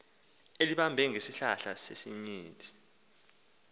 elibambe ngesihlahla sesinyithi